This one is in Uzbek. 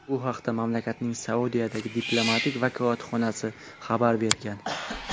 Bu haqda mamlakatning Saudiyadagi diplomatik vakolatxonasi xabar bergan .